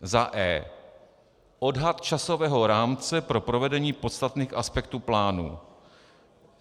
e) odhad časového rámce pro provedení podstatných aspektů plánu,